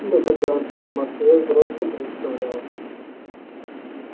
но когда он себя в москве взрослым представлял